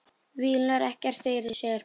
Vílar ekkert fyrir sér.